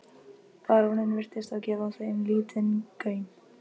Baróninn virtist þó gefa þeim lítinn gaum.